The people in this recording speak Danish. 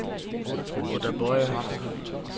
Oda Boye